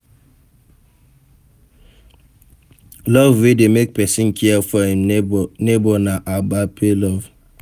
Love wey de make persin care for im neighbor na agape love